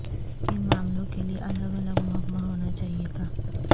ان معاملوں کے لیے الگ الگ محکمہ ہونا چاہیے تھا